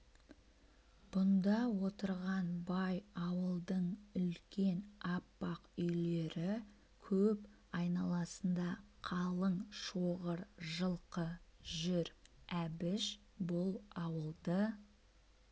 бұнда отырған бай ауылдың үлкен аппақ үйлері көп айналасында қалың шоғыр жылқы жүр әбіш бұл ауылды